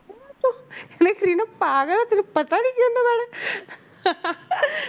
ਕਹਿੰਦੇ ਕਰੀਨਾ ਪਾਗਲ ਹੈ ਤੈਨੂੰ ਪਤਾ ਨੀ ਕੀ